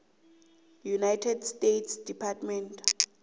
united states department